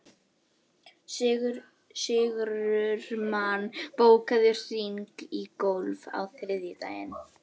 Silla, hvaða stoppistöð er næst mér?